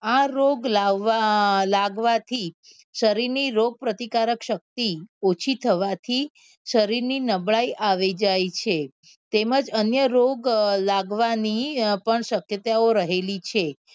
આ રોગ લાવવા અ લાગવા થી શરીર ની રોગ પ્રતિકારક શક્તિ ઓછી થવા થી શરીર ની નબળાઈ આવી જાય છે તેમજ અન્ય રોગ લાવવા ની અ પણ શક્યતાઓ પણ રહેલી છે.